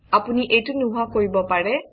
আপুনি এইটো নোহোৱা কৰিব পাৰে